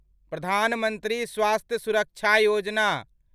प्रधान मंत्री स्वास्थ्य सुरक्षा योजना